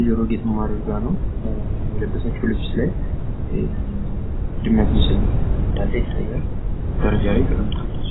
የጆሮ ጌጥም አድርጋ ነው ።የለበሰችው ልብስ ላይ የድመት ምስል እንዳለ ይታያል። ደረጃ ላይ ተቀምጣለች።